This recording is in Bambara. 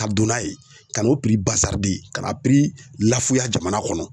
Ka don n'a ye ka n'o kana lafuya jamana kɔnɔ.